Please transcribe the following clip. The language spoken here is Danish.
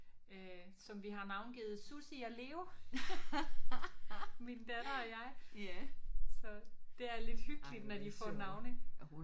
Øh som vi har navngivet Sussi og Leo min datter og jeg. Så det er lidt hyggeligt når de får navne